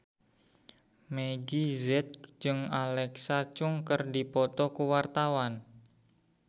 Meggie Z jeung Alexa Chung keur dipoto ku wartawan